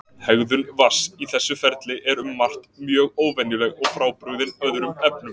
Hegðun vatns í þessu ferli er um margt mjög óvenjuleg og frábrugðin öðrum efnum.